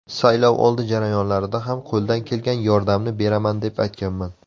Saylovoldi jarayonlarida ham qo‘ldan kelgan yordamni beraman deb aytganman.